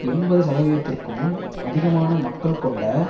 எண்பது சதவீதத்திற்கும் அதிகமான மக்கள் கொண்ட